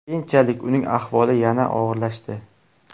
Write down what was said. Keyinchalik uning ahvoli yanada og‘irlashdi.